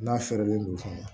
N'a fɛrɛlen don fana